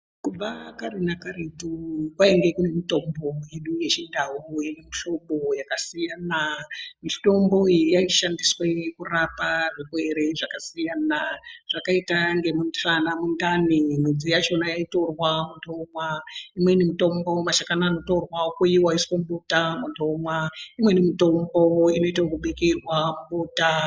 Kubva kare nakaretu kwainge kune mitombo yedu yechindau yemihlobo yakasiyana. Mitombo iyi yaishandiswe kurapa zvirwere zvakasiyana zvakaita ngemusana, mundani mudzi yachona yaitorwa muntu omwa. Imweni mitombo mashakani anotorwa okoiva oiswa mubota antu omwa imweni mitombo inoite yekubikirwa mubota.